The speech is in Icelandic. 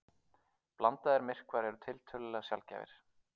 Blandaðir myrkvar eru tiltölulega sjaldgæfir.